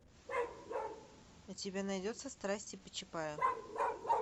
у тебя найдется страсти по чапаю